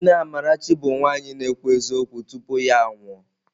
Nne Amarachi bụ nwaanyị na-ekwu eziokwu tupu ya anwụọ.